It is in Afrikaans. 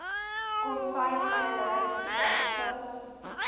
konfyt mayonnaise tomatiesous